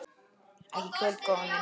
Ekki í kvöld, góða mín.